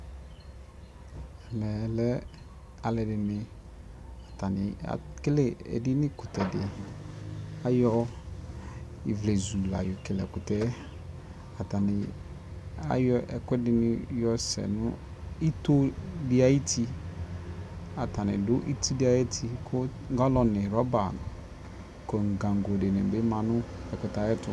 ɛmɛ lɛ alʋɛdini, atani ɛkɛlɛ ɛdini kʋtɛ kʋ ayɔ ivlɛzʋ layɔ kɛlɛ ɛkʋtɛ, atani ayɔ ɛkʋɛdi yɔsɛ nʋ itɔɔ di ayiti ,atani dʋ iti di ayi ti kʋgallon nʋ rubber nʋ gangɔ dini manʋ ɛkʋtɛ ayɛtʋ